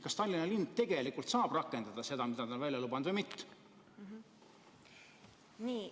Kas Tallinna linn tegelikult saab rakendada seda, mida nad on välja lubanud, või mitte?